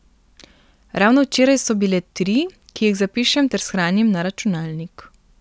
Ravno včeraj so bile tri, ki jih zapišem ter shranim na računalnik.